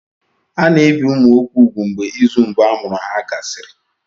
A na-ebi ụmụ nwoke úgwù mgbe izu mbụ amụrụ ha gasịrị.